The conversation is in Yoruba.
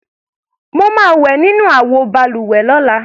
Mo máa wẹ̀ nínú àwọ balùwẹ̀ lọ́la.